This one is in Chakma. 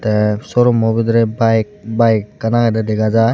tey showroommo bidirey bike bike ekkan agedey dega jai.